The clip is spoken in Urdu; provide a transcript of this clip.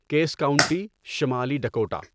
کیس کاونٹی، شمالی ڈکوٹا